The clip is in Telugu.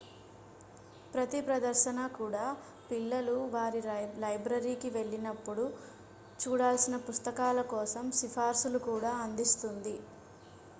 ప్రతి ప్రదర్శన కూడా పిల్లలు వారి లైబ్రరీకి వెళ్ళినప్పుడు చూడాల్సిన పుస్తకాల కోసం సిఫార్సులు కూడా అందిస్తుంది